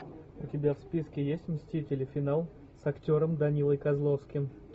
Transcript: у тебя в списке есть мстители финал с актером данилой козловским